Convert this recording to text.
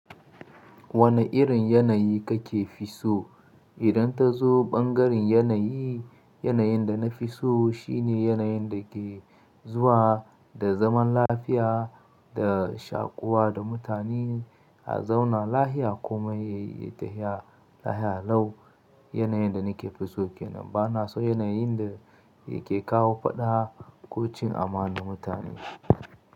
Wane irin yanayi kake fi so? Idan ta zo ɓangaren yanayi, yanayin da na fi so shine yanayin da ke zuwa da zaman lafiya, da shakuwa da mutane a zauna lahiya komai yayi ya tahiya lahiya lau. Yanayin da nake fi so ke nan ba na so yanayin da yake kawo faɗa ko cin amanan mutane.